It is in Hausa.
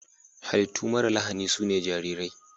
Hallitu mara lahani sune jarirai.